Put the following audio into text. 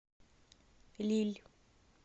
лилль